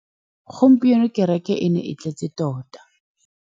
Gompieno kêrêkê e ne e tletse tota.